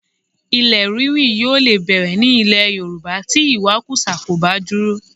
Ilẹ̀ ríri yóò lè bẹ̀rẹ̀ ní ilẹ̀ Yorùbá tí ìwakùsà kò bá dúró